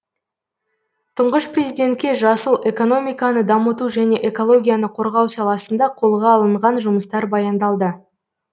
тұңғыш президентке жасыл экономиканы дамыту және экологияны қорғау саласында қолға алынған жұмыстар баяндалды